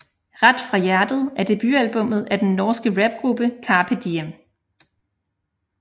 Rett fra hjertet er debutalbumet af den norske rapgruppe Karpe Diem